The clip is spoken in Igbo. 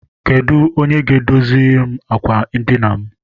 Onye ga- edoziri m àkwà edina m?